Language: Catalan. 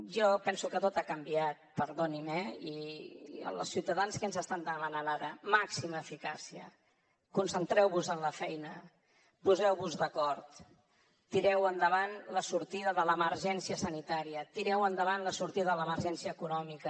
jo penso que tot ha canviat perdoni’m eh i els ciutadans què ens estan demanant ara màxima eficàcia concentreu vos en la feina poseu vos d’acord tireu endavant la sortida de l’emergència sanitària tireu endavant la sortida de l’emergència econòmica